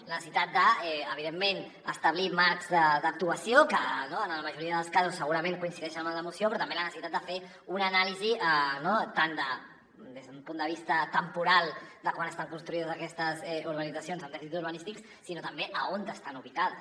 la necessitat de evidentment establir marcs d’actuació que en la majoria dels casos segurament coincideixen amb la moció però també la necessitat de fer ne una anàlisi tant des d’un punt de vista temporal de quan estan construïdes aquestes urbanitzacions amb dèficits urbanístics com també d’on estan ubicades